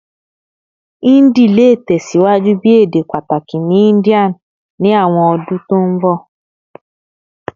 Hindi le tẹsiwaju bi ede pataki ni India ni awọn ọdun to nbọ